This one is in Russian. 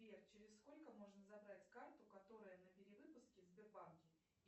сбер через сколько можно забрать карту которая на перевыпуске в сбербанке